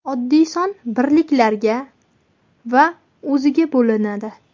Oddiy son birliklarga va o‘ziga bo‘linadi.